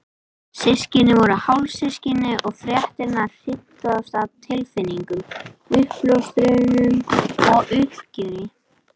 Systkinin voru hálfsystkin og fréttirnar hrintu af stað tilfinningum, uppljóstrunum og uppgjöri.